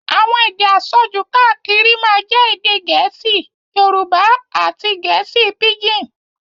Àwọn èdè àsọjù káàkiri máa jẹ́ èdè gẹ̀ẹ́sì, Yorùbá àti gẹ̀ẹ́sì píjìn.